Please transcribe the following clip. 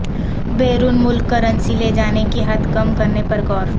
بیرون ملک کرنسی لے جانے کی حد کم کرنے پر غور